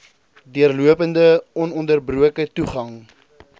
deurlopende ononderbroke toegang